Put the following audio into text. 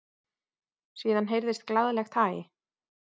Síðan heyrðist glaðlegt hæ.